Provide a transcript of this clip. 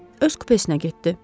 Öz kupesinə getdi.